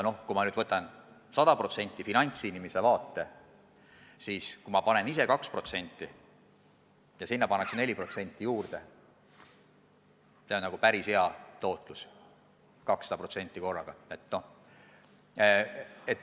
Kui ma nüüd võtan sada protsenti finantsinimese vaate, siis kui ma panen ise kõrvale 2% ja sinna pannakse 4% juurde – see on päris hea tootlus.